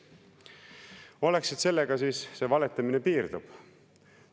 Oleks siis, et sellega see valetamine piirdub.